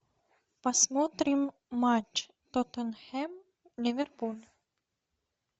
посмотрим матч тоттенхэм ливерпуль